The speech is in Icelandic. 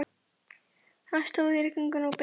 Hann stóð í rigningunni og beið.